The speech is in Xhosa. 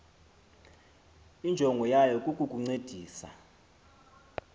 injongo yayo kukukuncedisa